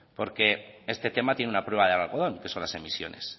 porque este tema tiene una prueba de algodón que son las emisiones